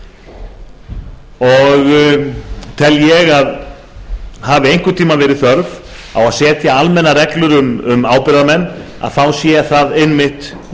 og tel ég að hafi einhvern tíma verið þörf á að setja almennar reglur um ábyrgðarmenn sé það einmitt